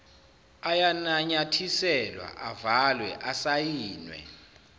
ayananyathiselwa avalwe asayinwe